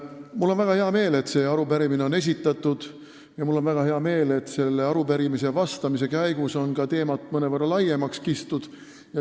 Mul on väga hea meel, et see arupärimine on esitatud, ja mul on väga hea meel, et selle arupärimise vastamise käigus on ka teemat mõnevõrra laiemaks kistud.